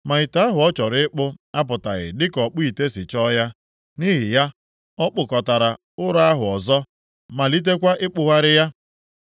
Ma ite ahụ ọ chọrọ ịkpụ apụtaghị dịka ọkpụ ite si chọọ ya, nʼihi ya, ọ kpụkọtara ụrọ ahụ ọzọ, malitekwa ịkpụgharị ya.